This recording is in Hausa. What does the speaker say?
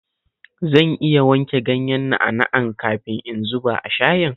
Zan iya wanke ganyen na'a-na'an kafin in zuba a shayin?